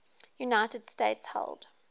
united states held